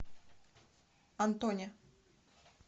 антоне